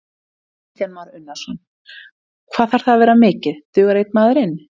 Kristján Már Unnarsson: Hvað þarf það að vera mikið, dugar einn maður inn?